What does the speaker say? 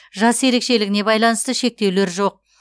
жас ерекшелігіне байланысты шектеулер жоқ